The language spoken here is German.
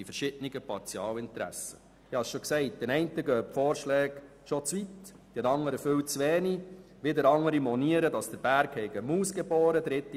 Den einen gehen die Vorschläge zu weit, den anderen ist es viel zu wenig und wieder andere monieren, dass der Berg eine Maus geboren habe.